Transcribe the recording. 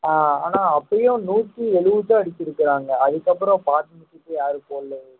ஆஹ் ஆனா அப்பயும் நூத்தி எழுபதுதான் அடிச்சிருக்கிறாங்க அதுக்கப்புறம் யாரும் போடலை